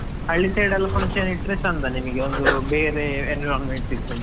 ಹಳ್ಳಿ side ಎಲ್ಲಾ function ಇಟ್ರೆ ಚಂದ ನಿಮಗೆ ಒಂದು ಬೇರೆ environment ಸಿಗ್ತದೆ.